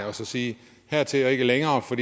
og sige at hertil og ikke længere for